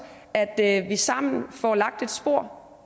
at at vi sammen får lagt et spor